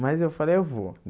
Mas eu falei, eu vou.